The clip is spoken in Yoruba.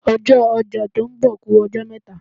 Ọjọ́ ọjà tó ń bọ̀ ku ọjọ́ mẹ́ta.